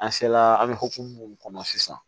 An se la an bɛ hokumu mun kɔnɔ sisan